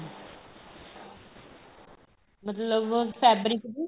ਮਤਲਬ fabric ਦੀ